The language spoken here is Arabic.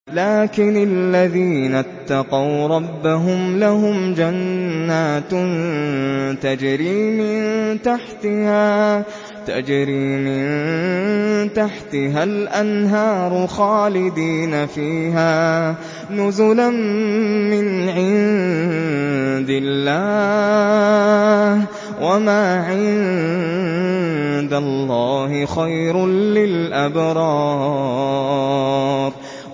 لَٰكِنِ الَّذِينَ اتَّقَوْا رَبَّهُمْ لَهُمْ جَنَّاتٌ تَجْرِي مِن تَحْتِهَا الْأَنْهَارُ خَالِدِينَ فِيهَا نُزُلًا مِّنْ عِندِ اللَّهِ ۗ وَمَا عِندَ اللَّهِ خَيْرٌ لِّلْأَبْرَارِ